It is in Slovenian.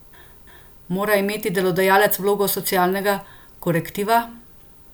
Mora imeti delodajalec vlogo socialnega korektiva?